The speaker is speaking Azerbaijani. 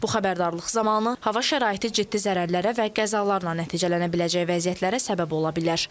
Bu xəbərdarlıq zamanı hava şəraiti ciddi zərərlərə və qəzalarla nəticələnə biləcək vəziyyətlərə səbəb ola bilər.